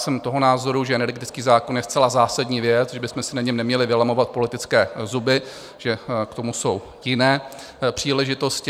Jsem toho názoru, že energetický zákon je zcela zásadní věc, že bychom si na něm neměli vylamovat politické zuby, že k tomu jsou jiné příležitosti.